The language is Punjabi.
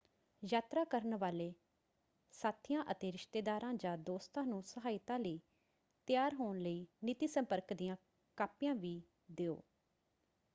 ਯਾਤਰਾ ਕਰਨ ਵਾਲੇ ਸਾਥੀਆਂ ਅਤੇ ਰਿਸ਼ਤੇਦਾਰਾਂ ਜਾਂ ਦੋਸਤਾਂ ਨੂੰ ਸਹਾਇਤਾ ਲਈ ਤਿਆਰ ਹੋਣ ਲਈ ਨੀਤੀ/ਸੰਪਰਕ ਦੀਆਂ ਕਾਪੀਆਂ ਵੀ ਦਿਓ।